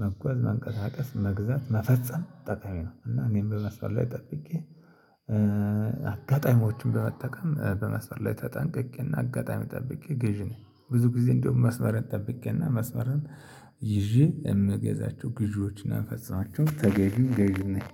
መጓዝ መቀሳቀስ መግዛት መፈጸም ጠቀሚ ነው። እና እኔም በመስመር ላይ ጠብቄ አጋጣሚዎችን በመጠቀም በመስመር ላይ ተጠንቅቄና አጋጣሚ ጠብቄ ገዢ ነኝ። ብዙ ጊዜ እንደውም መስመርን ጠብቄ እና መስመርን ይዤ እምገዛቸው ግዦች እና ምፈፅማቸው ተገዝም ገዝም ነኝ